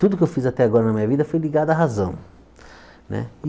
Tudo que eu fiz até agora na minha vida foi ligado à razão né.